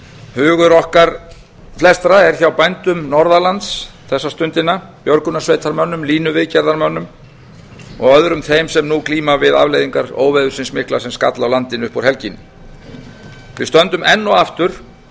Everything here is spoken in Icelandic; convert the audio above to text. hugur okkar flestra er hjá bændum norðan lands þessa stundina björgunarsveitarmönnum línuviðgerðarmönnum og öðrum þeim sem nú glíma við afleiðingar óveðursins mikla sem skall á landinu upp úr helginni við stöndum enn og aftur